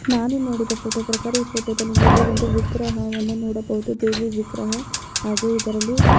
ನಾನು ನೋಡಿದ ಈ ಫೋಟೋ ಪ್ರಕಾರ ಈ ಫೋಟೋದಲ್ಲಿ ನೀವು ಒಂದು ವಿಗ್ರಹವನ್ನು ನೋಡಬಹುದು ದೇವಿ ವಿಗ್ರಹ ಹಾಗೆ ಇದರಲ್ಲಿ --